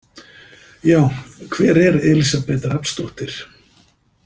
Já, hver er Elísabet Rafnsdóttir?